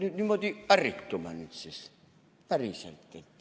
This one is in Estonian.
"– no niimoodi ärritume nüüd siis, päriselt.